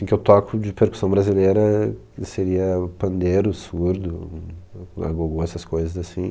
E o que eu toco de percussão brasileira seria o pandeiro, surdo hum o agogô, essas coisas assim.